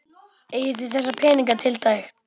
Eigið þið þessa peninga tiltæka?